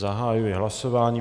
Zahajuji hlasování.